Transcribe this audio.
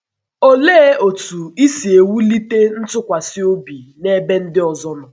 Olee otú isi ewulite ntụkwasị obi n’ebe ndị ọzọ nọ?